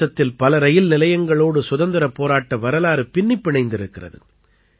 தேசத்தில் பல ரயில் நிலையங்களோடு சுதந்திரப் போராட்ட வரலாறு பின்னிப் பிணைந்திருக்கிறது